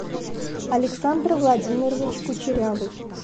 александр владимирович кучерявый